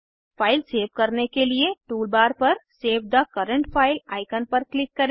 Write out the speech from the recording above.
file save करने के लिए टूलबार पर save the current file icon पर क्लिक करें